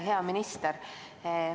Hea minister!